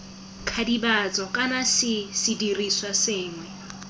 kidibatso kana c sedirisiwa sengwe